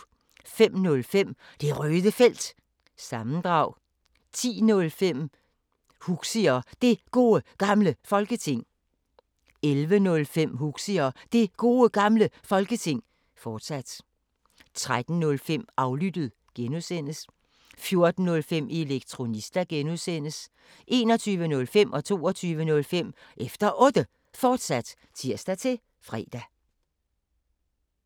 05:05: Det Røde Felt – sammendrag 10:05: Huxi og Det Gode Gamle Folketing 11:05: Huxi og Det Gode Gamle Folketing, fortsat 13:05: Aflyttet (G) 14:05: Elektronista (G) 21:05: Efter Otte, fortsat (tir-fre) 22:05: Efter Otte, fortsat (tir-fre)